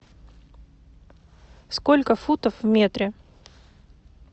сколько футов в метре